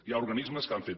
hi ha organismes que han fet